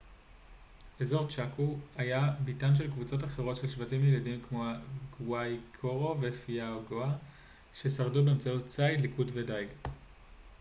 אזור צ'אקו היה ביתן של קבוצות אחרות של שבטים ילידים כמו הגואייקורו ופייאגואה ששרדו באמצעות ציד ליקוט ודיג